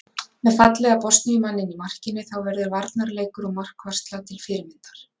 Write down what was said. Með fallega Bosníu manninn í markinu þá verður varnarleikur og markvarsla til fyrirmyndar.